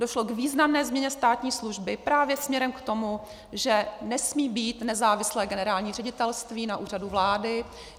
Došlo k významné změně státní služby právě směrem k tomu, že nesmí být nezávislé generální ředitelství na Úřadu vlády.